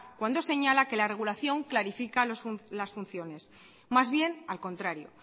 cuando señala que la regulación clarifica las funciones más bien al contrario